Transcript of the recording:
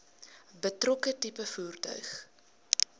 betrokke tipe voertuig